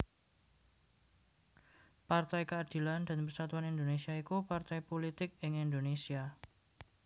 Partai Keadilan dan Persatuan Indonésia iku partai pulitik ing Indonésia